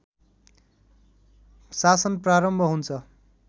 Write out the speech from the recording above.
शासन प्रारम्भ हुन्छ